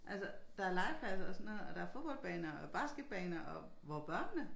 Altså der er legepladser og sådan noget og der fodboldbaner og basketbaner og hvor børnene?